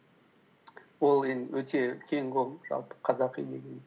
ол енді өте кең ғой жалпы қазақи деген